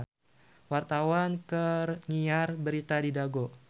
Wartawan keur nyiar berita di Dago